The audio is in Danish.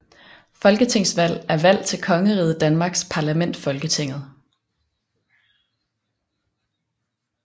Folketingsvalg er valg til Kongeriget Danmarks parlament Folketinget